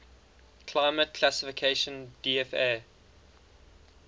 climate classification dfa